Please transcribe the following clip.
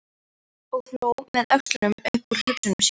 Og hló með öxlunum upp úr hugsunum sínum.